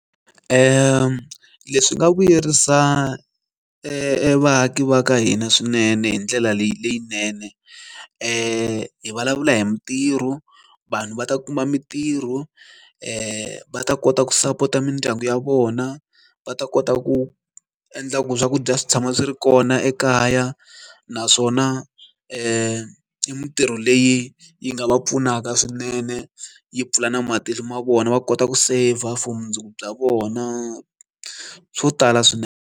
Leswi nga vuyerisa vaaki va ka hina swinene hi ndlela leyinene hi vulavula hi mitirho vanhu va ta kuma mintirho va kota ku sapota mindyangu ya vona va ta kota ku endla ku swakudya swi tshama swi ri kona ekaya naswona mintirho leyi yi nga va pfunaka swinene yi pfula na mati ma vona va kota ku saver for mundzuku bya vona swo tala swinene.